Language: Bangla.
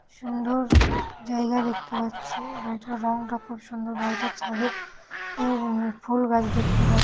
সুন্দর জায়গা দেখতে পাচ্ছি। বাড়িটার রংটা খুব সুন্দর। বাড়িটার ছাদে এর উম ফুল গাছ দেখতে পা--